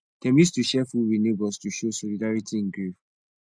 dem use to share food with neighbors to show solidarity in grief